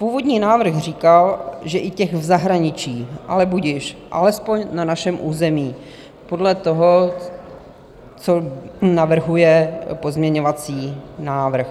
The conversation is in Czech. Původní návrh říkal, že i těch v zahraničí, ale budiž, alespoň na našem území - podle toho, co navrhuje pozměňovací návrh.